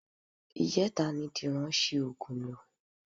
Ìjẹta ni Dìran ṣi oògùn lò